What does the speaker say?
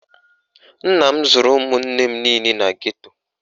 Nna m zụrụ ụmụnne m niile na geto